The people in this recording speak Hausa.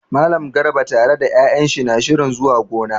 Mallam Garba tare da 'ya'yan shi na shirin zuwa gona.